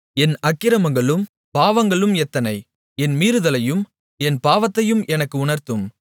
என் அக்கிரமங்களும் பாவங்களும் எத்தனை என் மீறுதலையும் என் பாவத்தையும் எனக்கு உணர்த்தும்